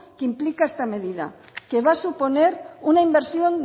que implica esta medida que va a suponer una inversión